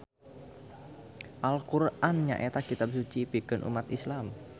Al Qur'an nyaeta kitab suci pikeun ummat Islam.